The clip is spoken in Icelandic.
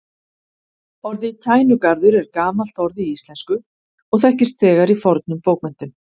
Orðið Kænugarður er gamalt orð í íslensku og þekkist þegar í fornum bókmenntum.